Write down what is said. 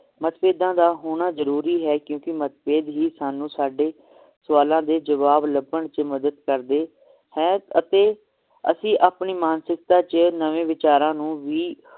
ਮਤਭੇਦਾਂ ਦਾ ਹੋਣਾ ਜਰੂਰੀ ਹੈ ਕਿਉਂਕਿ ਮਤਭੇਦ ਹੀ ਸਾਨੂੰ ਸਾਡੇ ਸਵਾਲਾਂ ਦੇ ਜਵਾਬ ਲੱਭਣ ਚ ਮੱਦਦ ਕਰਦੇ ਹੈ ਅਤੇ ਅਸੀ ਆਪਣੀ ਮਾਨਸਿਕਤਾ ਚ ਨਵੇਂ ਵਿਚਾਰਾਂ ਨੂੰ ਵੀ